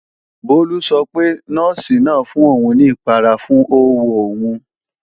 Bólú sọ pé, Nọ́ọ̀sì náà fún òun ní ìpara fún ówo òun